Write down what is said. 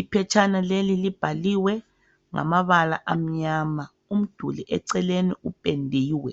Iphetshana leli libhaliwe ngamabala amnyama. Umduli eceleni upendiwe.